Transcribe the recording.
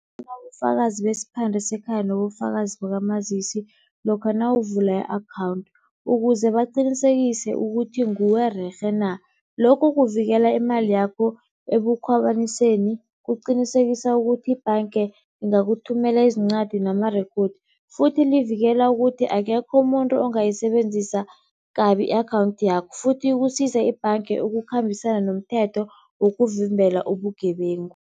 besiphande sekhaya nobufakazi bakamazisi lokha nawuvula i-akhawunthu ukuze baqinisekise ukuthi nguwe rerhe na. Lokho kuvikela imali yakho ebukhwabaniseni, kuqinisekisa ukuthi ibhanga ingakuthumela izincwadi namarekhodi. Futhi livikela ukuthi akekho umuntu ongayisebenzisa kabi i-akhawunthi yakho futhi kusize ibhange ukukhambisana nomthetho wokukuvimbela ubugebengu.